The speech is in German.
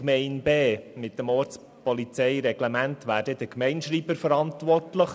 in Gemeinde B wäre gemäss des Ortspolizeireglements der Gemeindeschreiber verantwortlich;